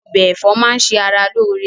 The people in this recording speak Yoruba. Ọbẹ̀ ẹ̀fọ́ máà ń ṣe ara lóore